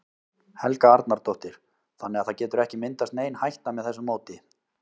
Helga Arnardóttir: Þannig að það getur ekki myndast nein hætta með þessu móti?